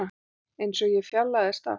Einsog ég fjarlægðist allt.